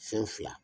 Fɛn fila